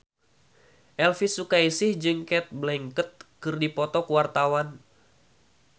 Elvi Sukaesih jeung Cate Blanchett keur dipoto ku wartawan